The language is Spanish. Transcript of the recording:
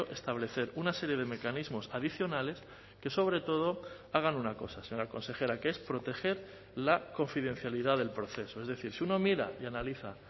establecer una serie de mecanismos adicionales que sobre todo hagan una cosa señora consejera que es proteger la confidencialidad del proceso es decir si uno mira y analiza